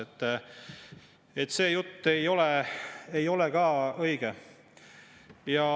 Nii et see jutt ei ole ka õige.